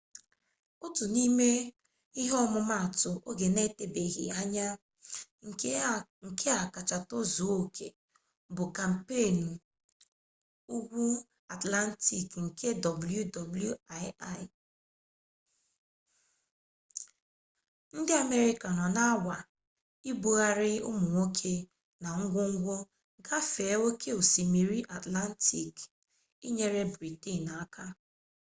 otu n'ime ọmụmatụ oge na-etebeghị anya nke a kacha tozuo oke bụbu kampeenụ ugwu atlantik nke wwii ndị amerịka nọ na-anwa ibugharị ụmụ nwoke na ngwongwo gafee oke osimiri atlantik inyere britenụ aka